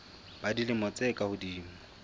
ba dilemo tse ka hodimo